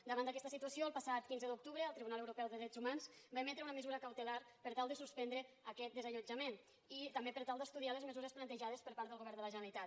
davant d’aquesta situació el passat quinze d’octubre el tribunal europeu de drets humans va emetre una mesura cautelar per tal de suspendre aquest desallotjament i també per tal d’estudiar les mesures plantejades per part del govern de la generalitat